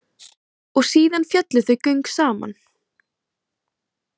Og síðan féllu þau göng saman.